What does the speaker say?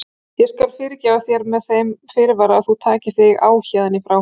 Ég skal fyrirgefa þér með þeim fyrirvara að þú takir þig á héðan í frá.